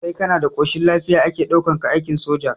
Sai kana da ƙoshin lafiya ake ɗaukar ka aikin soja